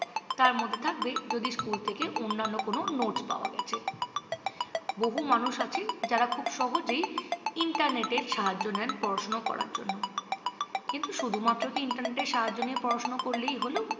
তার মধ্যে থাকবে যদি স্কুল থেকে অন্যান্য কোনও notes পাওয়া গেছে। বহু মানুষ আছে যারা খুব সহজেই ইন্টারনেটের সাহায্য নেন পড়াশুনো করার জন্য। কিন্তু শুধুমাত্র কি ইন্টারনেটের সাহায্য নিয়ে পড়াশুনো করলেই হোল?